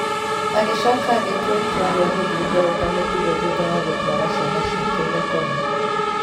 Agĩcoka agĩtua itua rĩa gũthiĩ toro ta mũtugo thutha wa gũtũara ciana ciake igakome.